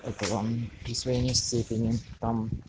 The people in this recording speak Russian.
это вам присвоение степени там